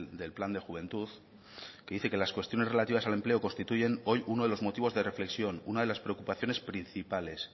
del plan de juventud que dice que las cuestiones relativas al empleo constituyen hoy uno de los motivos de reflexión una de las preocupaciones principales